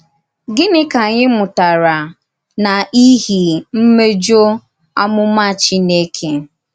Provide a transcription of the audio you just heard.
Gịnị ka ànyì mùtàrà n’ìhì mmèjọ àmùmà Chínèkè?